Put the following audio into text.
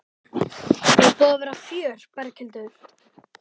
Er búið að vera fjör Berghildur?